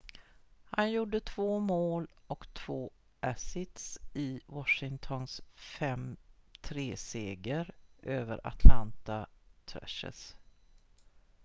han gjorde 2 mål och 2 assists i washingtons 5-3-seger över atlanta thrashers